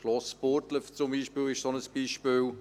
Das Schloss Burgdorf ist ein solches Beispiel.